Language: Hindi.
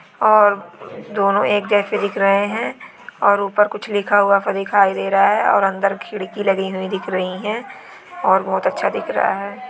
और दोनों एक जैसे दिख रहे हैंऔर ऊपर कुछ लिखा हुआ पर दिखाई दे रहा है और अंदर खिड़की लगी हुई दिख रही है और बहुत अच्छा दिख रहा है।